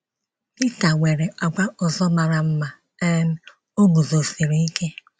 Pita nwere àgwà ọzọ mara mma um — ọ guzosiri ike.